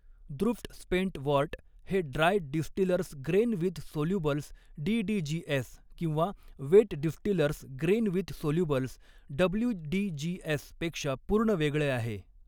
दृफ्ट spent wort हे dry distillers grain with solubles DDGS किंवा wet distillers grain with solubles WDGS पेक्षा पूर्ण वेगळे आहे.